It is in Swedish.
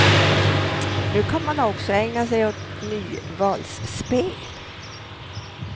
Nu kan man också ägna sig åt nyvalsspel.